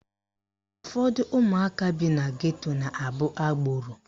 Ụfọdụ ụmụaka bi na geto na-abụ agboro